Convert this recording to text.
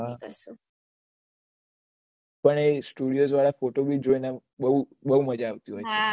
મન સ્તુદિઓસ વાળા ફોટોસ ભી જોય ને બહુ મજા આવતી હોય